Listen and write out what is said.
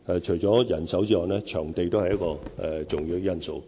除了人手外，場地亦是重要的因素。